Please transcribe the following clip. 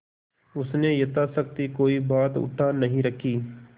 उसने यथाशक्ति कोई बात उठा नहीं रखी